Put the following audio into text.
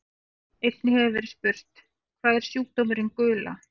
Einnig hefur verið spurt: Hvað er sjúkdómurinn gula?